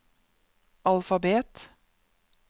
alfabet